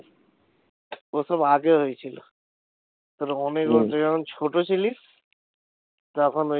ওসব আগে হয়ে ছিল ওসব অনেক হম তুই যখন ছোট ছিলি তখন ওই